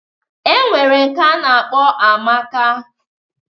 E nwere nke a na-akpọ Amaka.